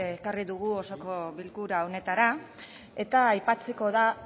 ekarri dugu osoko bilkura honetara eta aipatzeko da